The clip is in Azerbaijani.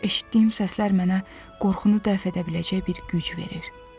Eşitdiyim səslər mənə qorxunu dəf edə biləcək bir güc verir.